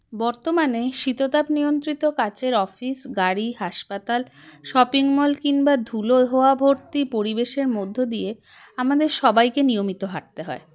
বর্তমানে শীতাতপনিয়ন্ত্রিত কাঁচের office গাড়ি হাসপাতাল shopping mall কিম্বা ধূলোয় হওয়া ভর্তি পরিবেশের মধ্য দিয়ে আমাদের সবাইকে নিয়মিত হাঁটতে হয়